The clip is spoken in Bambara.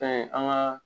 Fɛn an ka